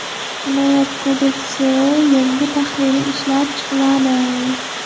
Jinoyat kodeksining yangi tahriri ishlab chiqiladi.